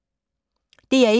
DR1